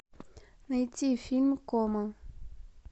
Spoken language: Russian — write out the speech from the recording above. найти фильм кома